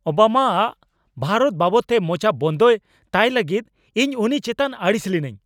ᱳᱵᱟᱢᱟᱼᱟᱜ ᱵᱷᱟᱨᱚᱛ ᱵᱟᱵᱚᱫᱛᱮ ᱢᱚᱪᱟ ᱵᱚᱱᱫᱚᱭ ᱛᱟᱭ ᱞᱟᱹᱜᱤᱫ ᱤᱧ ᱩᱱᱤ ᱪᱮᱛᱟᱱ ᱟᱹᱲᱤᱥ ᱞᱤᱱᱟᱹᱧ ᱾